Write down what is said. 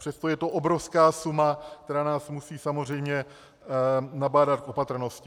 Přesto je to obrovská suma, která nás musí samozřejmě nabádat k opatrnosti.